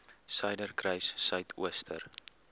suiderkruissuidooster